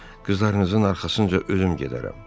Qızlarınızın arxasınca özüm gedərəm.